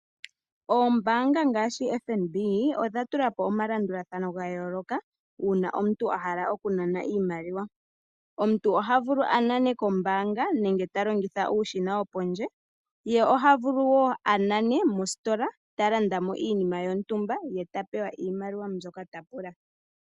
Ombaanga ngaashi FNB odha tula po omalandulathano ga yooloka uuna omuntu a hala okunana iimaliwa. Omuntu oha vulu a nane kombaanga nenge ta longitha uushina wopondje, ye oha vulu woo a nane mositola ta landa mo iinima yontumba ye ta pewa iimaliwa mbyoka ta pula.